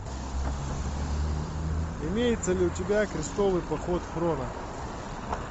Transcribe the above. имеется ли у тебя крестовый поход хроно